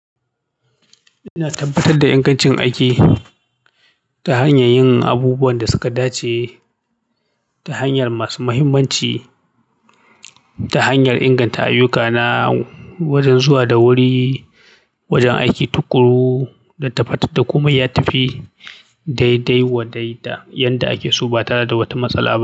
Ina tabbatar da ingancin aiki ta hanyar yin abubuwan da suka dace ta hanyar masu muhimmanci ta hanyar inganta ayyukana wajen zuwa da wuri, wajen aiki tuƙuru da tabbatar da komai ya tafi daidai wa daida. Yanda ake so ba tare da wata matsala ba.